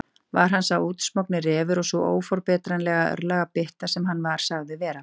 Var hann sá útsmogni refur og sú óforbetranlega örlagabytta sem hann var sagður vera?